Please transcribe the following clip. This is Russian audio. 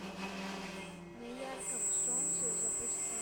на ярком солнце запусти